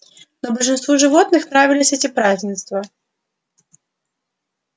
но большинству животных нравились эти празднества